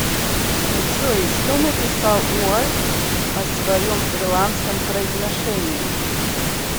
джой что написал уальд о своем ирландском произношении